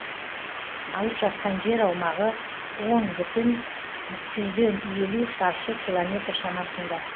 алып жатқан жер аумағы он бүтін жүзден елу шаршы километр шамасында